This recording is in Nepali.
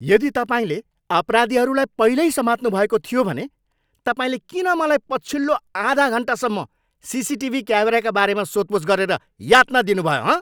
यदि तपाईँले अपराधीहरूलाई पहिल्यै समात्नुभएको थियो भने तपाईँले किन मलाई पछिल्लो आधा घन्टासम्म सिसिटिभी क्यामेराका बारेमा सोधपुछ गरेर यातना दिनुभयो, हँ?